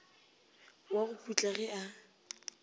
wa go putla ge a